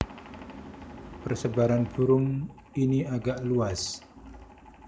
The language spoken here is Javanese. Persebaran burung ini agak luas